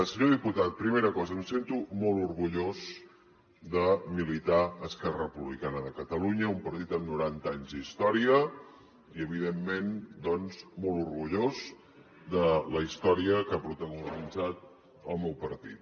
senyor diputat primera cosa em sento molt orgullós de militar a esquerra republicana de catalunya un partit amb noranta anys d’història i evidentment doncs molt orgullós de la història que ha protagonitzat el meu partit